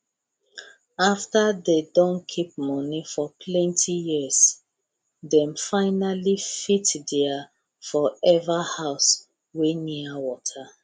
after dey don keep money for plenti years dem finally fittheir forever house wey near water